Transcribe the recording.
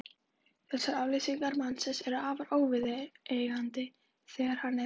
Þessar yfirlýsingar mannsins eru afar óviðeigandi sagði hann með þykkju.